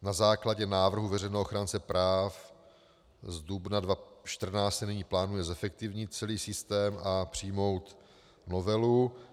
Na základě návrhu veřejného ochránce práv z dubna 2014 se nyní plánuje zefektivnit celý systém a přijmout novelu.